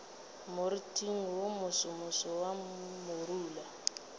moriting wo mosomoso wa morula